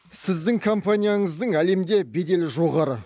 сіздің компанияңыздың әлемде беделі жоғары